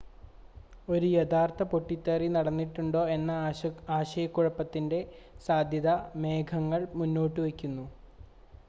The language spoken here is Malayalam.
ഒരു യഥാർത്ഥ പൊട്ടിത്തെറി നടന്നിട്ടുണ്ടോ എന്ന ആശയക്കുഴപ്പത്തിൻ്റെ സാധ്യത മേഘങ്ങൾ മുന്നോട്ടുവയ്ക്കുന്നു